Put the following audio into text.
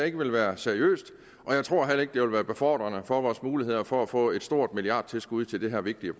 ikke ville være seriøst og jeg tror heller ikke det ville være befordrende for vores muligheder for at få et stort milliardtilskud til det her vigtige